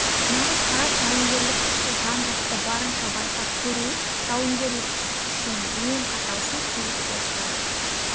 нағыз парад жауынгерлік күшті жан-жақты барынша байқап көру жауынгерлік күш үшін ең қатал сын соғыс болып табылады